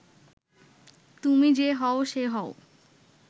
তুমি যে হও সে হও